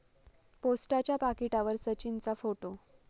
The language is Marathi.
पोस्टाच्या पाकिटावर सचिनचा फोटो!